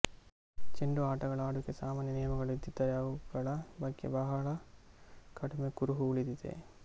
ಚೆಂಡು ಆಟಗಳ ಆಡುವಿಕೆಗೆ ಸಾಮಾನ್ಯ ನಿಯಮಗಳು ಇದ್ದಿದ್ದರೆ ಅವುಗಳ ಬಗ್ಗೆ ಬಹಳ ಕಡಿಮೆ ಕುರುಹು ಉಳಿದಿದೆ